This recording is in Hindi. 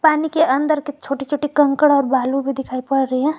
पानी के अंदर के छोटे छोटे कंकड़ और बालू भी दिखाई पड़ रहे हैं।